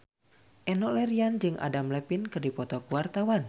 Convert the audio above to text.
Enno Lerian jeung Adam Levine keur dipoto ku wartawan